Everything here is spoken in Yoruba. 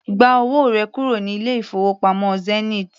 Gba owó rẹ kúrò ní ilé-ìfowópamọ́ Zenith!